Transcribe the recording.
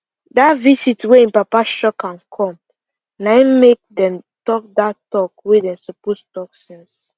dat visit wey him papa shock am come na im make dem talk dat talk wey dem suppose talk since